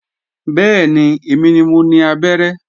Bẹ́ẹ̀ni, èmi ni mo ni abẹ́rẹ́